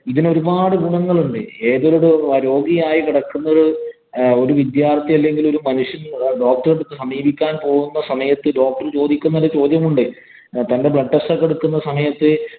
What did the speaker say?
ഇതിനു ഒരുപാട് ഗുണങ്ങളുണ്ടേ. ഏതൊരു രോഗിയായി കിടക്കുന്ന ഒരു വിദ്യാര്‍ത്ഥി അല്ലെങ്കില്‍ ഒരു മനുഷ്യന്‍ doctor എ സമീപിക്കാന്‍ പോകുന്ന സമയത്ത് doctor ചോദിക്കുന്ന ഒരു ചോദ്യമുണ്ട്. പണ്ട് blood test ഒക്കെ എടുക്കുന്ന സമയത്ത്